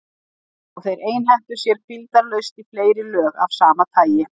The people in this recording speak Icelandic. Og þeir einhentu sér hvíldarlaust í fleiri lög af sama tagi.